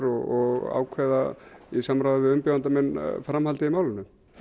og ákveða í samráði við umbjóðanda minn framhaldið í málinu